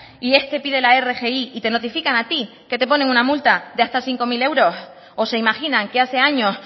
y este pide la rgi y te notifican a ti que te ponen una multa de hasta cinco mil euros o se imaginan que hace años